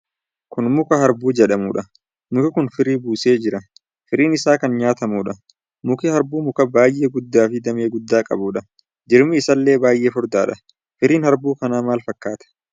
Kun muka harbuu jedhamuudha. Muki kun firii buusee jira. Firiin isaa kan myaatamuudha. Muki harbuu mukaa baay'ee guddaa fi damee guddaa qabuudha. Jirmi isaallee baay'ee furdaadha. Firiin harbuu kanaa maal fakkaata?